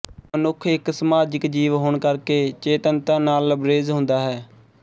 ਮਨੁੱਖ ਇੱਕ ਸਮਾਜਿਕ ਜੀਵ ਹੋਣ ਕਰਕੇ ਚੇਤੰਨਤਾ ਨਾਲ਼ ਲਬਰੇਜ਼ ਹੁੰਦਾ ਹੈ